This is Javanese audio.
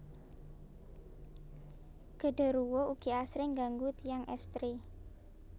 Gederuwo ugi asring ngganggu tiyang estri